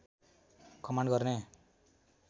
command गर्ने